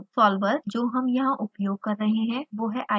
solver जो हम यहाँ उपयोग कर रहे हैं वो है icofoam: